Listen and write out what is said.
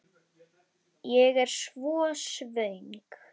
Ég er svo svöng.